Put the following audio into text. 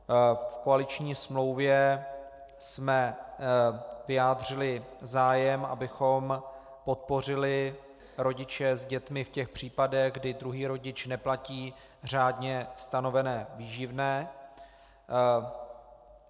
V koaliční smlouvě jsme vyjádřili zájem, abychom podpořili rodiče s dětmi v těch případech, kdy druhý rodič neplatí řádně stanovené výživné.